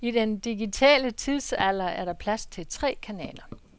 I den digitale tidsalder er der plads til tre kanaler.